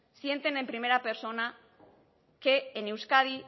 sienten en primera persona que en euskadi